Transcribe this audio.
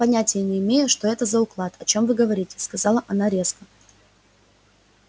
понятия не имею что это за уклад о чём вы говорите сказала она резко